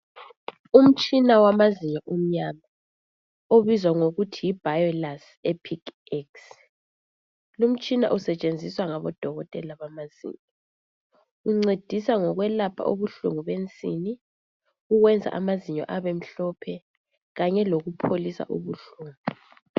Umtshina wamazinyo omnyama obizwa ngokuthi yi biolace epic ex lumtshina usetshenziswa ngabodokotela bamazinyo uncedisa ngokwelapha ubuhlungu bensini ukwenza amazinyo abemhlophe kanye lokupholisa ubuhlungu.